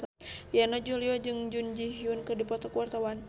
Yana Julio jeung Jun Ji Hyun keur dipoto ku wartawan